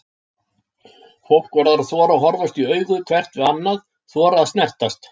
Fólk verður að þora að horfast í augu hvert við annað, þora að snertast.